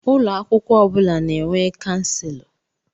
Ụlọ akwụkwọ ọ bụla na-enwe Kanselọ.